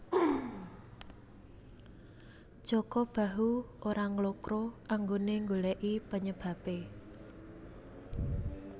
Jaka Bahu ora nglokro anggone nggoleki penyebabe